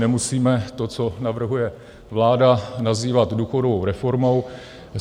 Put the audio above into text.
Nemusíme to, co navrhuje vláda, nazývat důchodovou reformou.